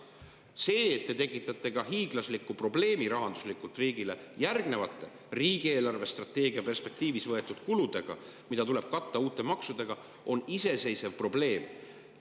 See, et te tekitate riigile hiiglasliku rahandusliku probleemi järgnevate riigi eelarvestrateegias võetud kuludega, mida tuleb katta uute maksudega, on iseseisev probleem.